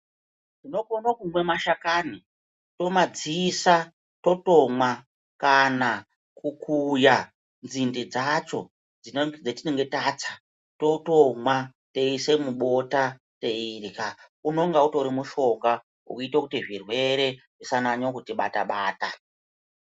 Tinokone kumwa mashakani, tomadziisa totomwa kana kukuya nzinde dzacho dzatinenge tatsa totomwa toisa mubota teirya. Unoona utori mushonga unoite kuti zvirwere zvisanyanya kutibata bata.